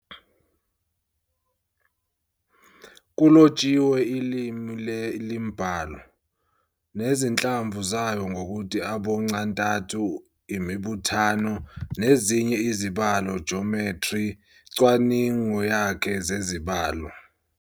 Kulotshiwe ilimi le-IiMbalo, nezinhlamvu zayo ngokuthi aboncantathu, imibuthano, nezinye izibalo Jomethri, " cwaningo yakhe zezibalo